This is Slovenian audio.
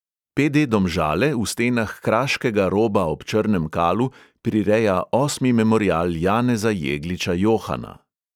Pe|de domžale v stenah kraškega roba ob črnem kalu prireja osmi memorial janeza jegliča johana.